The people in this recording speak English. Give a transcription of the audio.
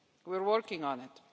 We're working on it.